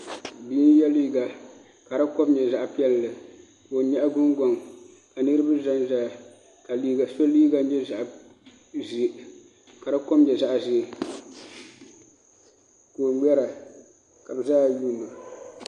Bia n yɛ liiga ka di kom nyɛ zaɣ piɛlli ka o nyaɣa gungoŋ ka niraba ʒɛnʒɛya ka so liiga nyɛ zaɣ ʒiɛ ka di kom nyɛ zaɣ ʒiɛ ka o ŋmɛra ka bi zaaha yuundi o